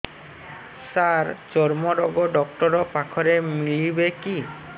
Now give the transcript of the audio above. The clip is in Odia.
ସାର ଚର୍ମରୋଗ ଡକ୍ଟର ପାଖରେ ମିଳିବେ କି